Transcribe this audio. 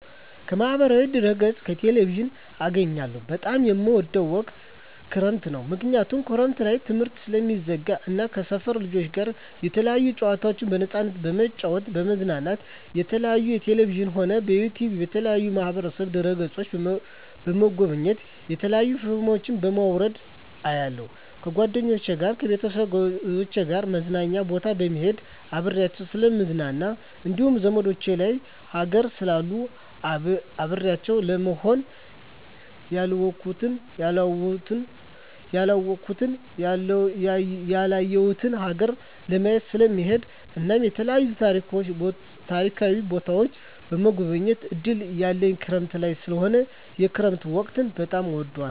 ከማህበራዊ ድህረገፅ ከቴሌቪዥን አገኛለሁ በጣም የምወደዉ ወቅት ክረምት ነዉ ምክንያቱም ክረምት ላይ ትምህርት ስለሚዘጋ እና ከሰፈር ልጆች ጋር የተለያዩ ጨዋታዎችን በነፃነት በመጫወት በመዝናናት የተለያዩ በቴሌቪዥንም ሆነ በዩቱዩብ በተለያዩ ማህበራዋ ድህረ ገፆችን በመጎብኘት የተለያዩ ፊልሞችን በማዉረድ አያለሁ ከጓደኞቸ ጋር ከቤተሰቦቸ ጋር መዝናኛ ቦታ በመሄድና አብሬያቸዉ ስለምዝናና እንዲሁም ዘመዶቸ ሌላ ሀገር ስላሉ አብሬያቸው ለመሆንና ያላወኩትን ያላየሁትን ሀገር ለማየት ስለምሄድ እናም የተለያዩ ታሪካዊ ቦታዎችን የመጎብኘት እድል ያለኝ ክረምት ላይ ስለሆነ የክረምት ወቅት በጣም እወዳለሁ